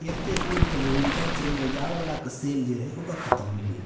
एक ते अखन विंटर सेल जार्ह वाला सेल छै ओ खत्म भले --